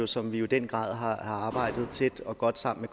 som vi jo i den grad har arbejdet tæt og godt sammen